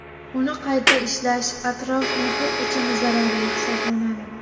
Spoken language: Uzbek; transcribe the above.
Uni qayta ishlash atrof-muhit uchun zararli hisoblanadi.